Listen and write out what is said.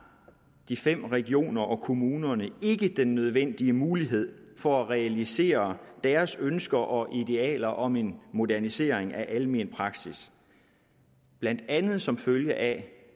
de fem regioner og kommunerne ikke den nødvendige mulighed for at realisere deres ønsker og idealer om en modernisering af almen praksis blandt andet som følge af